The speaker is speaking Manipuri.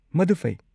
ꯃꯗꯨ ꯐꯩ꯫